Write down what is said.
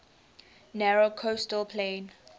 narrow coastal plain